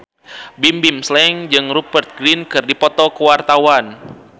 Bimbim Slank jeung Rupert Grin keur dipoto ku wartawan